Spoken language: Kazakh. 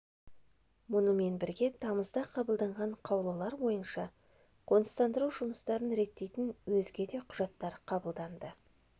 мұнымен бірге тамызда қабылданған қаулылар бойынша қоныстандыру жұмыстарын реттейтін өзге де құжаттар қабылданды